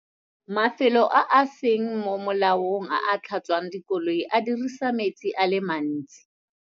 Mafelo a a seng mo molaong a a tlhatswang dikoloi a dirisa metsi a le mantsi.